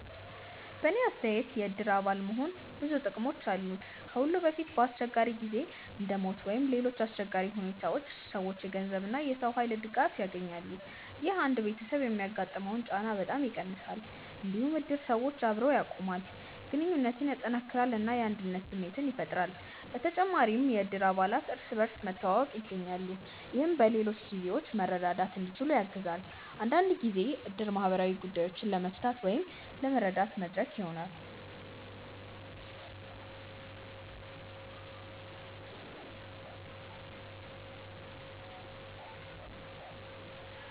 በእኔ አስተያየት የእድር አባል መሆን ብዙ ጥቅሞች አሉት። ከሁሉ በፊት በአስቸጋሪ ጊዜ እንደ ሞት ወይም ሌሎች አሰቸጋሪ ሁኔታዎች ሰዎች የገንዘብ እና የሰው ኃይል ድጋፍ ያገኛሉ። ይህ አንድ ቤተሰብ የሚያጋጥመውን ጫና በጣም ይቀንሳል። እንዲሁም እድር ሰዎችን አብሮ ያቆማል፣ ግንኙነትን ያጠናክራል እና የአንድነት ስሜት ያፈጥራል። በተጨማሪም እድር አባላት እርስ በርስ መተዋወቅ ያገኛሉ፣ ይህም በሌሎች ጊዜዎችም መርዳት እንዲችሉ ያግዛል። አንዳንድ ጊዜ እድር ማህበራዊ ጉዳዮችን ለመፍታት ወይም ለመረዳት መድረክ ይሆናል።